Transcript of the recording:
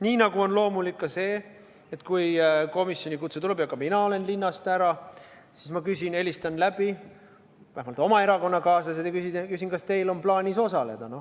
Nii nagu on loomulik ka see, et kui komisjoni kutse tuleb ja mina olen linnast ära, siis ma helistan läbi vähemalt oma erakonnakaaslased ja küsin, kas neil on plaanis osaleda.